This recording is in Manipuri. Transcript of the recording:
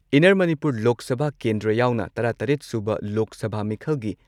ꯏꯟꯅꯔ ꯃꯅꯤꯄꯨꯔ ꯂꯣꯛ ꯁꯚꯥ ꯀꯦꯟꯗ꯭ꯔ ꯌꯥꯎꯅ ꯇꯔꯥ ꯇꯔꯦꯠ ꯁꯨꯕ ꯂꯣꯛ ꯁꯚꯥ ꯃꯤꯈꯜꯒꯤ